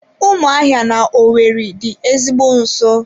Ụmụahịa na owerri dị ezigbo nso.